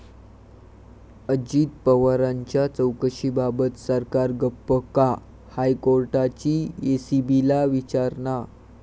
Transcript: अजित पवारांच्या चौकशीबाबत सरकार गप्प का?, हायकोर्टाची एसीबीला विचारणा